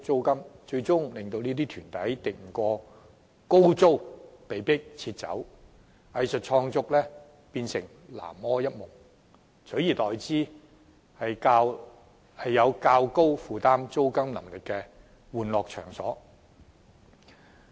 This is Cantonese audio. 結果，這些團體敵不過高昂租金而被迫撤走，藝術創作頓成南柯一夢，而原本的場地，則為一些能負擔較高租金的玩樂場所佔用。